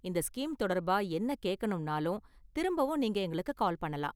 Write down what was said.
இந்த ஸ்கீம் தொடர்பா என்ன கேக்கணும்னாலும் திரும்பவும் நீங்க எங்களுக்கு கால் பண்ணலாம்.